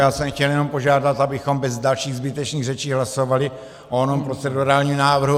Já jsem chtěl jenom požádat, abychom bez dalších zbytečných řečí hlasovali o onom procedurálním návrhu.